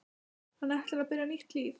Hann ætlar að byrja nýtt líf.